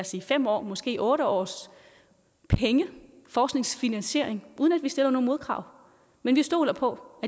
sige fem år måske otte års penge forskningsfinansiering uden at vi stiller nogen modkrav men vi stoler på